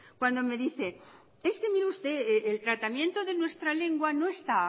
cuando me dice es que mire usted el tratamiento de nuestra lengua no está